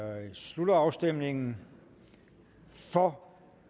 jeg slutter afstemningen for